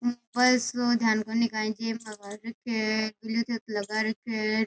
ऊपर ध्यान कोणी काई के लगा रखे है।